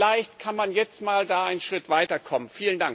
Vielleicht kann man da jetzt mal einen Schritt weiterkommen.